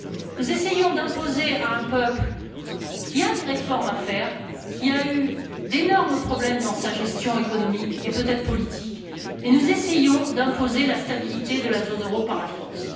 Nous essayons d'imposer à un peuple qui a des réformes à faire, qui a eu d'énormes problèmes dans sa gestion économique et peut être politique la stabilité de la zone euro par la force.